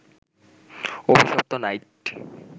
অভিশপ্ত নাইট